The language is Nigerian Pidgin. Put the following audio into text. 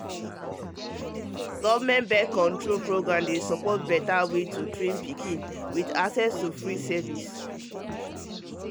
government birth-control um program dey support beta way to train pikin with access to free service